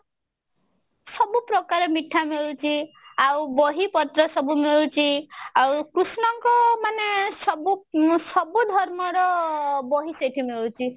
ସବୁ ପ୍ରକାର ମିଠା ମିଳୁଛି ଆଉ ବହି ପତ୍ର ସବୁ ମିଳୁଛି ଆଉ କୃଷ୍ଣ ଙ୍କ ମାନେ ସବୁ ସବୁ ଧର୍ମ ର ବହି ସେଠି ମିଳୁଛି